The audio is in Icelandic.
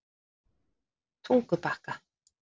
Tungubakka